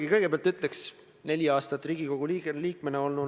Mu küsimus on täpselt sama, mis oli esimesel korral.